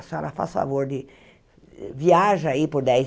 A senhora, faça o favor de viaja aí por dez